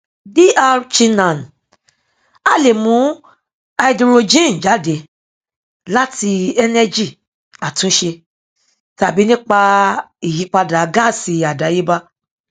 dr chinnan a lè mú háídírójìn jáde láti ẹnẹgì àtúnṣe tàbí nípa ìyípadà gáàsì àdáyébá